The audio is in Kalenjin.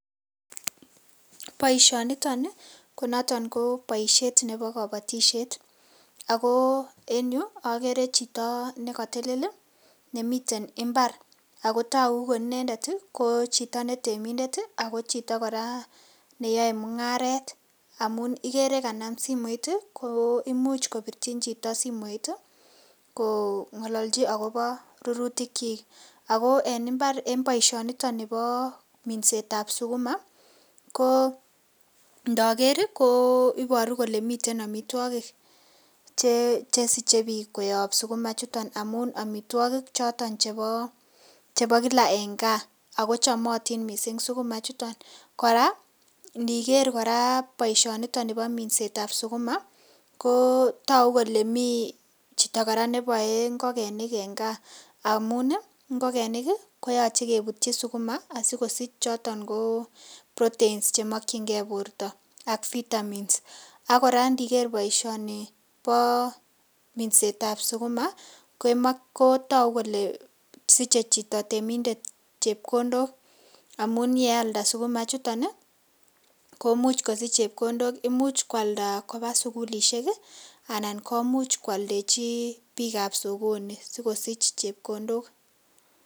Boiisonito ni konoto ko boisiet neebo kobotisiet ak ko en yu ogere chito ne kotelel nemiten mbar ago togu ko inendet ko chito ne temindet ago chito kora neyoe mung'aret amun igere kanam simoit koimuch kopirchin chito simoit kong'ololchi agobo rurutikyik. Ago en mbar en boisionito nibo minset ab sukuma ko ndoker ko iboru kole miten amitwogik che siche biik koyob sukuma ichuton amun amitwogik choton chebo kila en gaa ago chomotin mising sukuma ichuton. Kora iniker kora boisionito nibo minset ab sukuma kotogu kole mi chito kora neboe ngokenik en gaa amun ngokenik koyoche kebutyi sukuma asikosich choton ko proteins che mokinge borto ak vitamins ak kora iniker boiisioni bo minset ab sukuma ko togu kole siche chito temindet chepkondok amun ye alda sukuma ichuton komuch kosich chepkondok, imuch koalda koba sugulishek anan komuch koaldechi biik ab sokoni sikosich chepkondok.